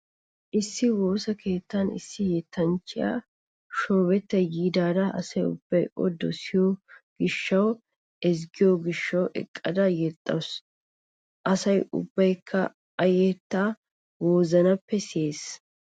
Issi woosa keetan issi yettanchchiya shoobetta yaada asa ubbayi o dosiyo gishshawunne ezggiyo gishshawu eqqada yexxawusu. Asa ubbaykka I yettaa wozanappe siyees.